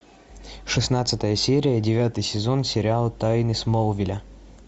шестнадцатая серия девятый сезон сериала тайны смолвиля